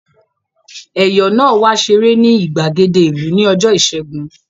Ẹ̀yọ̀ náà wá ṣeré ní ìgbàgede ìlú ní ọjọ́ ìṣẹ́gun